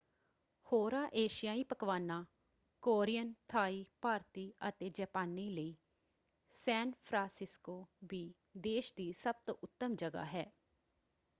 ਹੋਰਾਂ ਏਸ਼ੀਆਈ ਪਕਵਾਨਾਂ: ਕੋਰੀਅਨ ਥਾਈ ਭਾਰਤੀ ਅਤੇ ਜਾਪਾਨੀ ਲਈ ਸੈਨ ਫ੍ਰਾਂਸਿਸਕੋ ਵੀ ਦੇਸ਼ ਦੀ ਸਭ ਤੋਂ ਉੱਤਮ ਜਗ੍ਹਾ ਹੈ।